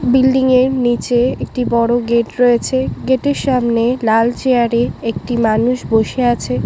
Building এর নিচে একটি বড় গেট রয়েছে গেট এর সামনে লাল চেয়ার এ একটি মানুষ বসে আছে।